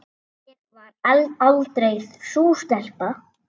Ég var aldrei sú stelpa.